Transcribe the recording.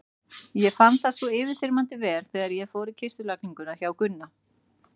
Ég fann það svo yfirþyrmandi vel þegar ég fór í kistulagninguna hjá Gunna.